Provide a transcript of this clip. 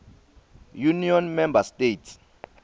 union member states